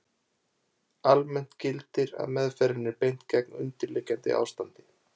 Almennt gildir að meðferðinni er beint gegn undirliggjandi ástandi.